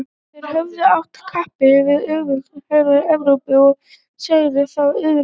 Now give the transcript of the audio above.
þeir höfðu att kappi við öflugustu heri evrópu og sigrað þá auðveldlega